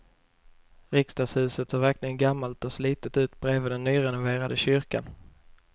Riksdagshuset ser verkligen gammalt och slitet ut bredvid den nyrenoverade kyrkan.